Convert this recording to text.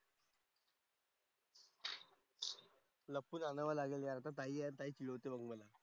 लपवून आणावं लागेल यार. आता ताई आहे, ताई चिडवते मग मला.